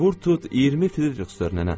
Vur tut 20 frixdır nənə.